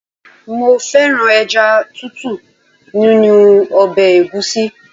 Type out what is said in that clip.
Mo fẹ́ràn ẹja Títù nínú ọbẹ̀ egusi.